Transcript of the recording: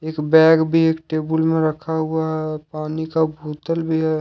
एक बैग भी एक टेबुल में रखा हुआ है और पानी का बोतल भी है।